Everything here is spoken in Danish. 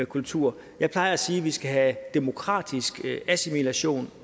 kultur jeg plejer at sige at vi skal have demokratisk assimilation